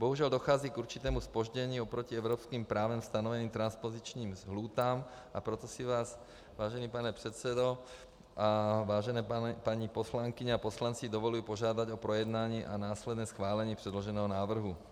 Bohužel dochází k určitému zpoždění oproti evropským právem stanoveným transpozičním lhůtám, a proto si vás, vážený pane předsedo a vážené paní poslankyně a poslanci, dovoluji požádat o projednání a následné schválení předloženého návrhu.